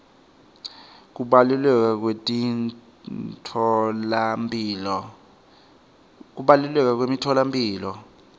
kubaluleka kwemitfolamphilo